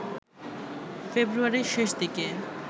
ফেব্রুয়ারির শেষদিকে